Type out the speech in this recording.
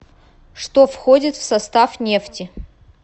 что входит в состав нефти